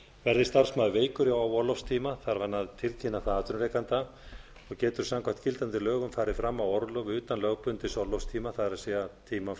verði starfsmaður veikur á orlofstíma þarf hann að tilkynna það atvinnurekanda og getur samkvæmt gildandi lögum farið fram á orlof utan lögbundins orlofstíma það er tíma